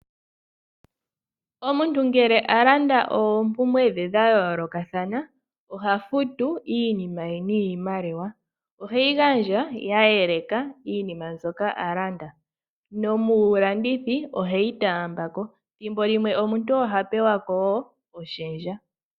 Omuntu ngele alanda oompumbwe dhe dha yoolokathana oha futu iinima ye niinima oheyi gandja ya yeleka iinima mbyoka alanda nomulandithi oheyi taambako .ethimbo limwe omuntu ohapewa woo oshendja